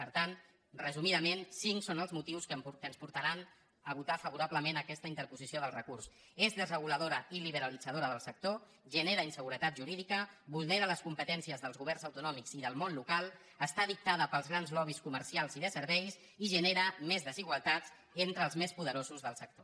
per tant resumidament cinc són els motius que ens portaran a votar favorablement aquesta interposició del recurs és desreguladora i liberalitzadora del sector genera inseguretat jurídica vulnera les competències dels governs autonòmics i del món local està dictada pels grans lobbys comercials i de serveis i genera més desigualtats entre els més poderosos del sector